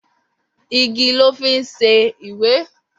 Igi lọ́ fi ń ṣe ìwé.